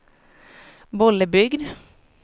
Bollebygd